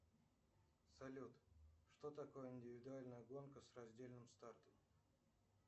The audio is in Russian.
салют что такое индивидуальная гонка с раздельным стартом